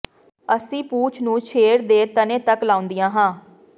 ਅਸੀਂ ਪੂਛ ਨੂੰ ਸ਼ੇਰ ਦੇ ਤਣੇ ਤੱਕ ਲਾਉਂਦੀਆਂ ਹਾਂ